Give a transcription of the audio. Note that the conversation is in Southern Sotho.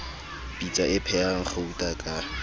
pitsa e phehang gauta ka